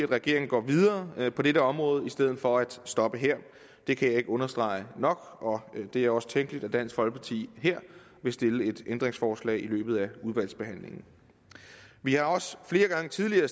regeringen går videre på dette område i stedet for at stoppe her det kan jeg ikke understrege nok og det er også tænkeligt at dansk folkeparti her vil stille et ændringsforslag i løbet af udvalgsbehandlingen vi har også flere gange tidligere